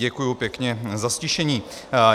Děkuji pěkně za ztišení.